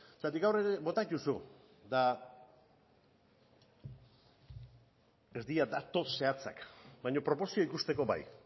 zergatik gaur ere bota dituzu eta ez dira datu zehatzak baino proportzioa ikusteko bai